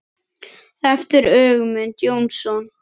eftir Ögmund Jónsson